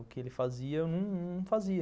O que ele fazia, eu não fazia.